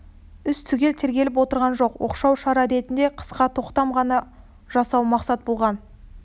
іс түгел тергеліп отырған жоқ оқшау шара ретінде қысқа тоқтам ғана жасау мақсат болған